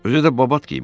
Özü də babat qiymətə.